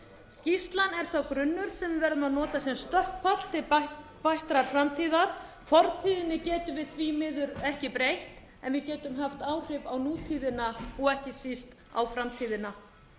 skýrslan er sá grunnur sem við verðum að nota sem stökkpall til bættrar framtíðar fortíðinni getum við því miður ekki breytt en við getum haft áhrif á nútíðina og ekki síst á framtíðina